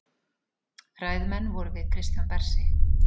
Ræðumenn vorum við Kristján Bersi